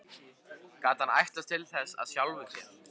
Gat hann ætlast til þess af sjálfum sér?